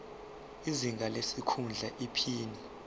izinga lesikhundla iphini